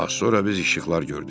Az sonra biz işıqlar gördük.